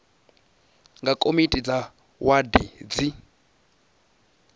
nga komiti dza wadi dzi